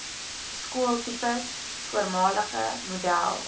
skooltipes voormalige model